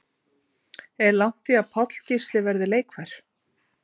Er langt í að Páll Gísli verði leikfær?